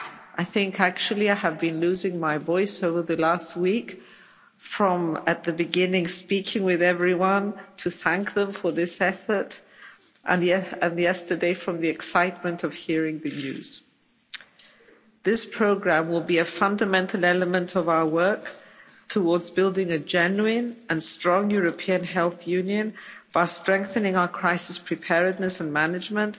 I think actually I have been losing my voice over the last week from, at the beginning, speaking with everyone to thank them for this effort and yesterday from the excitement of hearing the news. This programme will be a fundamental element of our work towards building a genuine and strong European health union by strengthening our crisis preparedness and management